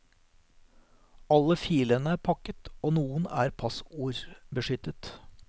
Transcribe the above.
Alle filene er pakket, og noen er passordbeskyttet.